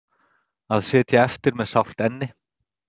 Að sitja eftir með sárt enni